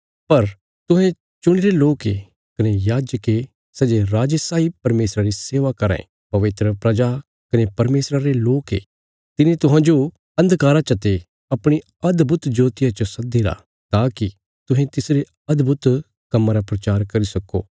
पर तुहें चुणीरे लोक ये कने याजक ये सै जे राजे साई परमेशरा री सेवा कराँ ये पवित्र प्रजा कने परमेशरा रे लोक ये तिने तुहांजो अन्धकारा चते अपणी अदभुत ज्योतिया च सद्दीरा ताकि तुहें तिसरे अदभुत कम्मां रा प्रचार करी सक्को